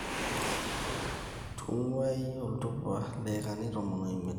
Tung`uayi oltupa idaikani tomon omiet